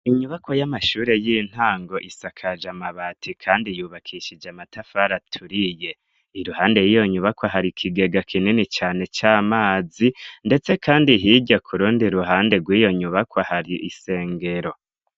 Inyubakwa y'amashuri y'intango isakaje amabati kandi yubakishije amatafari aturiye. Iruhande y'iyo nyubakwa hari ikigega kinini cane c'amazi, ndetse kandi hirya ku rundi ruhande rw'iyo nyubakwa hari isengero.